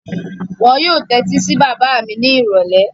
Wọn yóò tẹ́tí sí bàbá mi ni ìrọ̀lẹ́.